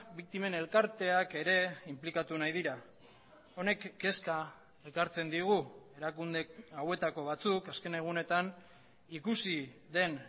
biktimen elkarteak ere inplikatu nahi dira honek kezka ekartzen digu erakunde hauetako batzuk azken egunetan ikusi den